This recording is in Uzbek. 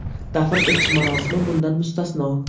Dafn etish marosimi bundan mustasno.